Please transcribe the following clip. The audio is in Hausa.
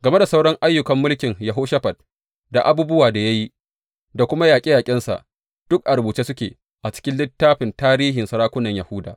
Game da sauran ayyukan mulkin Yehoshafat da abubuwan da ya yi, da kuma yaƙe yaƙensa, duk a rubuce suke a cikin littafin tarihin sarakunan Yahuda.